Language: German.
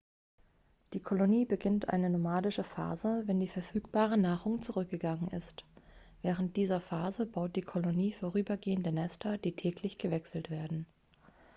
die kolonie beginnt eine nomadische phase wenn die verfügbare nahrung zurückgegangen ist während dieser phase baut die kolonie vorübergehende nester die täglich gewechselt werden